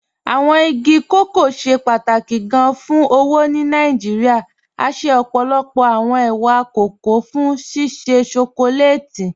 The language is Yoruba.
Awọn igi kọkọ ṣẹ pátákì gán fún owó ni Nàìjíríà, à ṣẹ ọ́pọ́lọ́pọ̀ awọn è̩wà kọkọ̀ fún ṣíṣẹ́ shọkọlátì.